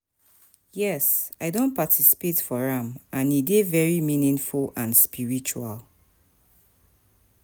Yes, i don participate for am, and e dey very meaningful and spiritual.